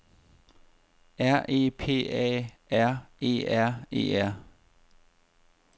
R E P A R E R E R